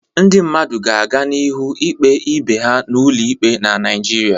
Ndị mmadụ ga aganihu ikpe ibe ha n'ụlọ ikpe na Naịjirịa.